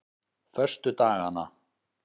föstudagana